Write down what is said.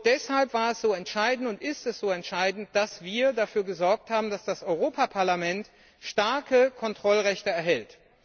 Deshalb war es so entscheidend und ist es so entscheidend, dass wir dafür gesorgt haben, dass das Europaparlament starke Kontrollrechte erhält.